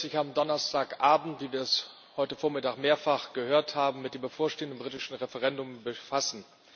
Der Gipfel wird sich am Donnerstagbend, wie wir es heute Vormittag mehrfach gehört haben, mit dem bevorstehenden britischen Referendum befassen.